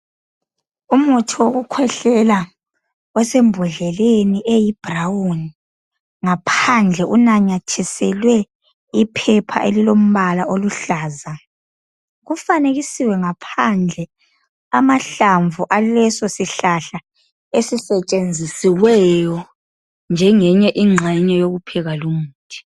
Umuthi wokukhwehlela osembodleleni eyi brown. Ngaphandle unyathiselwe iphepha elilombala oluhlaza. Ufanekisiwe ngaphandle amahlamvu alesosihlahla esisetshenzisiweyo njengeyinye ingxenye yokupheka lumuthi.